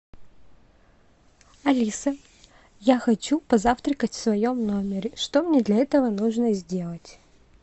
алиса я хочу позавтракать в своем номере что мне для этого нужно сделать